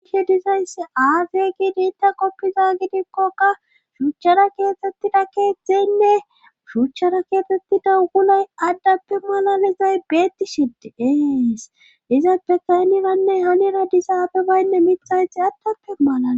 ahi dizayssi aafiye giidi inta qoppiza gidikkoka shuuchchara keetettida keettzeynne shuuchchara keexettida guley addappe malalizay beettishe de'es dizappe kayniranne hanira disaabe baynne mixayxi adtappe malala